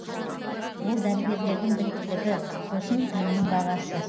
ол дәрігерлердің біліктілігі сосын емнің бағасы